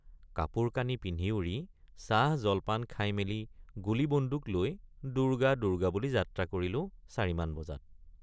কাপোৰকানি পিন্ধি উৰি চাহজলপান খাইমেলি গুলীবন্দুক লৈ দুৰ্গা দুৰ্গা বুলি যাত্ৰা কৰিলেঁ৷ ৪॥ মান বজাত।